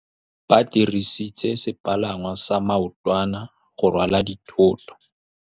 Ba dirisitse sepalangwasa maotwana go rwala dithôtô.